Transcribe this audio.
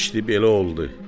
İşdi belə oldu.